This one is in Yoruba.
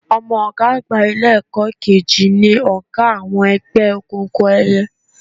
Ọmọ ọ̀gá àgbà Ilé-ẹ̀kọ́ kejì ni ọ̀gá àwọn ẹgbẹ́ òkùnkùn ẹyẹ